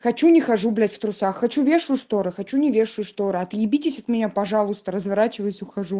хочу не хожу блять в трусах хочу вешаю шторы хочу не вешаю шторы отъебитесь от меня пожалуйста разворачиваюсь ухожу